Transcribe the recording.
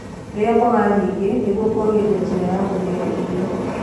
rĩa mboga nyingĩ nĩguo kuagirĩa njira ya guthia irio